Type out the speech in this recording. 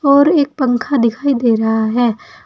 और एक पंखा दिखाई दे रहा है।